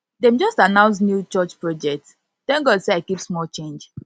dem just announce new church project thank god sey i keep small change